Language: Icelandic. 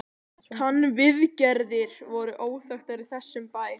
TannVIÐGERÐIR voru óþekktar í þessum bæ.